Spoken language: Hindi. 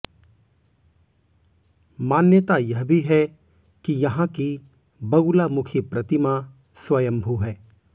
मान्यता यह भी है कि यहां की बगुलामुखी प्रतिमा स्वयंभू है